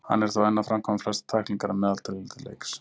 Hann er þó enn að framkvæma flestar tæklingar að meðaltali í leiks.